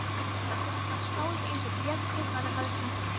Hann var skáld eins og Björn kaupmaður hafði sagt þeim.